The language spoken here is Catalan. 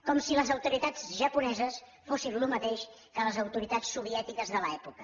com si les autoritats japoneses fossin el mateix que les autoritats soviètiques de l’època